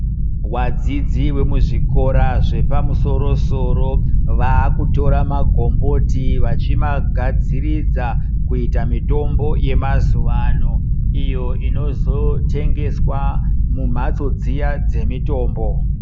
Wadzidzi wemuzvikora zvepamusoro-soro vaakutora magomboti vachimagadziridza kuita mitombo yemazuwa ano ,iyo inozotengeswa mumhatso dziya dzemitombo.